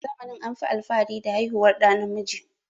A zamanin anfi alfahari da haihuwar ɗa namiji